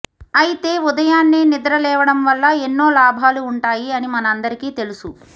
అయితే ఉదయాన్నే నిద్రలేవడం వల్ల ఎన్నో లాభాలు ఉంటాయి అని మనందరికీ తెలుసు